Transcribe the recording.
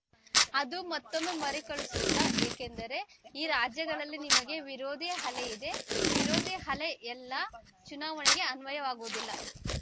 ಅದು ಮತ್ತೊಮ್ಮೆ ಮರುಕಳಿಸುತ್ತಾ ಏಕೆಂದರೆ ಈ ರಾಜ್ಯಗಳಲ್ಲಿ ನಿಮಗೆ ವಿರೋಧಿ ಅಲೆಯಿದೆ ವಿರೋಧಿ ಅಲೆ ಎಲ್ಲಾ ಚುನಾವಣೆಗೆ ಅನ್ವಯವಾಗುವುದಿಲ್ಲ